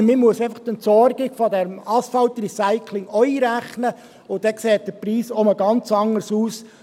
Aber man muss die Entsorgung des Asphaltrecyclings einfach ebenfalls einberechnen, und dann sieht der Preis wieder ganz anders aus.